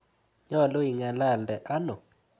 Nyalu ing'alalde ano?